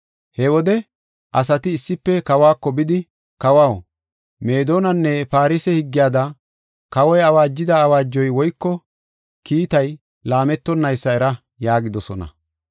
He wode asati issife kawako bidi, “Kawaw, Meedonanne Farse higgiyada, kawoy awaajida awaajoy woyko kiitay laametonnaysa era” yaagidosona.